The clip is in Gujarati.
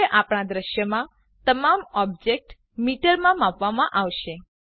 હવે આપણા દૃશ્યમાં તમામ ઓબ્જેક્ત્સ મીટરમાં માપવામાં આવશે